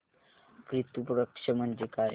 पितृ पक्ष म्हणजे काय